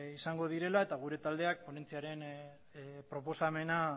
izango direla eta gure taldeak ponentziaren proposamena